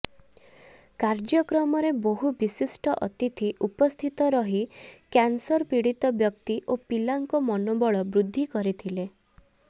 କାର୍ଯକ୍ରମରେ ବହୁ ବିଶିଷ୍ଟ ଅତିଥି ଉପସ୍ଥିତ ରହି କ୍ୟନସର ପୀଡିତ ବ୍ୟକ୍ତି ଓ ପିଲାଙ୍କ ମନୋବଳ ବୃଦ୍ଧି କରିଥିଲେ